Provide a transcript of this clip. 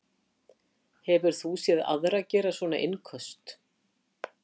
Hefur þú séð aðra gera svona innköst?